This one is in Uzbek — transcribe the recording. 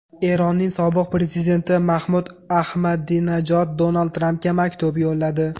Eronning sobiq prezidenti Mahmud Ahmadinajod Donald Trampga maktub yo‘lladi.